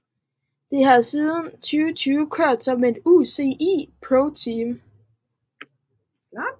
Det har siden 2020 kørt som et UCI ProTeam